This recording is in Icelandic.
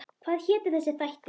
Hvað hétu þessir þættir?